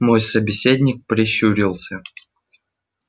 мой собеседник прищурился